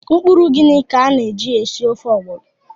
Mkpụrụ ugiri ka a na-eji esi ofe ọgbọnọ.